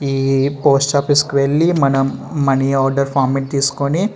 ఈ post office కి వెళ్ళి మనం మనీ ఆర్డర్ ఫార్మాట్ తీసుకుని --